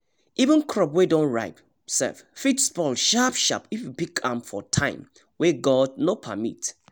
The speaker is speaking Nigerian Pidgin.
even crop wey don ripe sef fit spoil sharp-sharp if we pick am for time wey god no permit